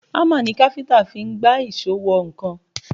Hámà ni káfíńtà fi ń gbá èṣó wọ nǹkan